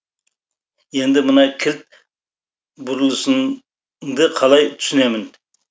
енді мына кілт бұрылысыңды қалай түсінемін